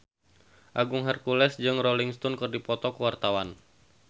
Agung Hercules jeung Rolling Stone keur dipoto ku wartawan